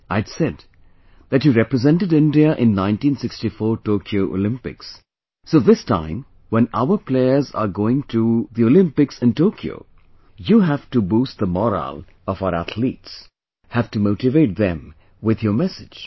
I had said that you have represented India in 1964 Tokyo Olympics, so this time when our players are going to Olympics in Tokyo, you have to boost the morale of our athletes, have to motivate them with your message